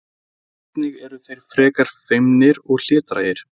einnig eru þeir frekar feimnir og hlédrægir